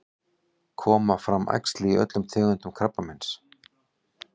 koma fram æxli í öllum tegundum krabbameins